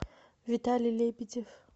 виталий лебедев